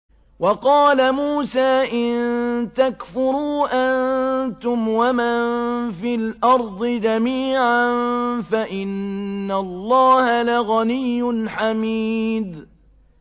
وَقَالَ مُوسَىٰ إِن تَكْفُرُوا أَنتُمْ وَمَن فِي الْأَرْضِ جَمِيعًا فَإِنَّ اللَّهَ لَغَنِيٌّ حَمِيدٌ